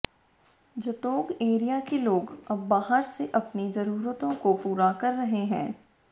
Jutogh area के लोग अब बाहर से अपनी जरूरतों को पूरा कर रहे हैं